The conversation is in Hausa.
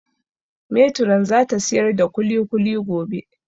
Metiron za ta siyar da kulikuli gobe